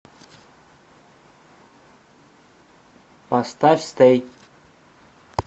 поставь стэй